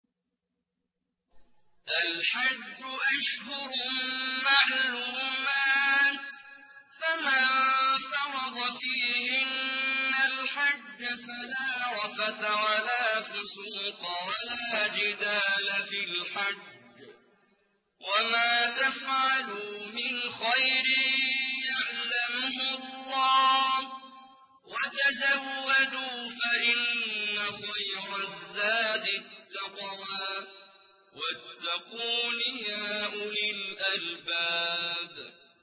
الْحَجُّ أَشْهُرٌ مَّعْلُومَاتٌ ۚ فَمَن فَرَضَ فِيهِنَّ الْحَجَّ فَلَا رَفَثَ وَلَا فُسُوقَ وَلَا جِدَالَ فِي الْحَجِّ ۗ وَمَا تَفْعَلُوا مِنْ خَيْرٍ يَعْلَمْهُ اللَّهُ ۗ وَتَزَوَّدُوا فَإِنَّ خَيْرَ الزَّادِ التَّقْوَىٰ ۚ وَاتَّقُونِ يَا أُولِي الْأَلْبَابِ